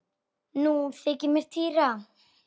Nú þykir mér týra!